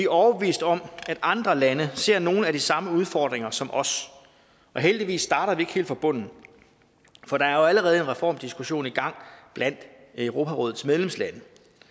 overbeviste om at andre lande ser nogle af de samme udfordringer som os og heldigvis starter vi ikke helt fra bunden for der er jo allerede en reformdiskussion i gang blandt europarådets medlemslande